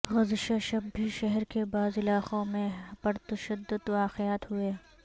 گزشہ شب بھی شہر کے بعض علاقوں میں پرتشدد واقعات ہوئے